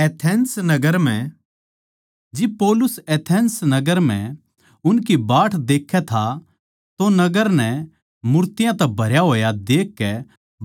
जिब पौलुस एथेंस नगर म्ह उसकी बाट देखै था तो नगर नै मूर्तियाँ तै भरया होड़ देखकै भोत परेशान होग्या